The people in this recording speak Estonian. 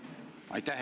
Aitäh!